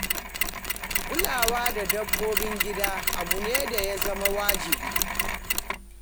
Kulawa da dabbobin gida abu ne da ya zama wajibi.